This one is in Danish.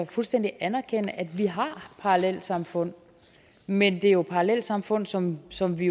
fuldstændig anerkende at vi har parallelsamfund men det er jo parallelsamfund som som vi